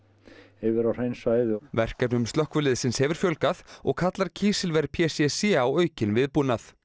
yfir á hrein svæði og verkefnum slökkviliðsins hefur fjölgað og kallar kísilver p c c á aukinn viðbúnað